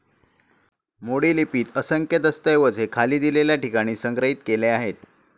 मोडी लिपीत असंख्य दस्तऐवज हे खाली दिलेल्या ठिकाणी संग्रहित केले आहेत.